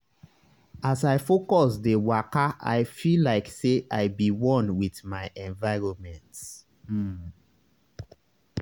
as i focus dey wakai feel like say i be one with my environment. um